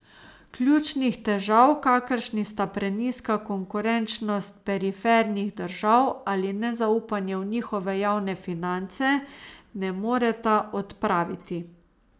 Ključnih težav, kakršni sta prenizka konkurenčnost perifernih držav ali nezaupanje v njihove javne finance, ne moreta odpraviti.